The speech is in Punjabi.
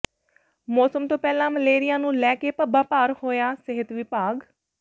ਮੌਸਮ ਤੋਂ ਪਹਿਲਾਂ ਮਲੇਰੀਆ ਨੂੰ ਲੈ ਕੇ ਪੱਬਾਂ ਭਾਰ ਹੋਇਆ ਸਿਹਤ ਵਿਭਾਗ